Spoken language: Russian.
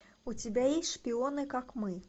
у тебя есть шпионы как мы